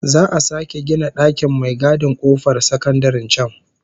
Za'a sake gina dakin mai gadin kofar sakandaren can